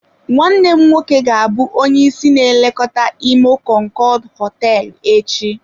Nwanne m nwoke ga-abụ onye isi na-elekọta imo konkood hoteelu echi.